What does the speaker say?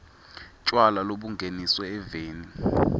tjwala lobungeniswe eveni